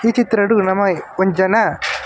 ಈ ಚಿತ್ರಡ್ ನಮ ಒಂಜ್ ಜನ.